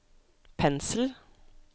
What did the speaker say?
pensel